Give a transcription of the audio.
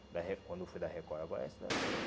da record, quando foi da record, agora essa...